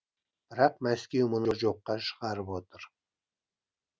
бірақ мәскеу мұны жоққа шығарып отыр